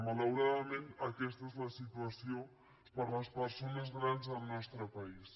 malauradament aquesta és la situació per a les persones grans al nostre país